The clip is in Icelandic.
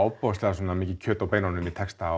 ofboðslega mikið kjöt á beinunum í texta